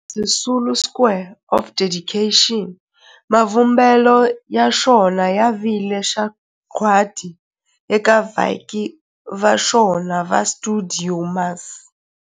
Walter Sisulu Square of Dedication, mavumbelo ya xona ya vile sagwadi eka vaaki va xona va stuidio MAS.